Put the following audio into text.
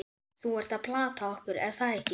Þú ert að plata okkur, er það ekki?